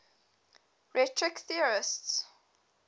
rhetoric theorists